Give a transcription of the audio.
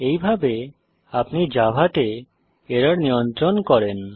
এইভাবে আপনি জাভা তে এরর নিয়ন্ত্রণ করেন